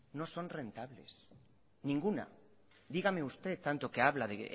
no son rentables ninguna dígame usted tanto que habla de